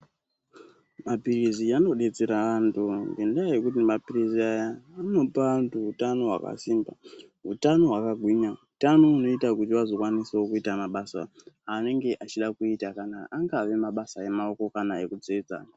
Mapilizi anodetsera vantu ngenda yekuti mapilizi aya anopa antu utano hwakasimba, hutano hwakagwinya, utano hunoite kuti vazokwanisao kuita mabasa anenge achida kuita kana angaa mabasa emaoko kana ekutsetsa.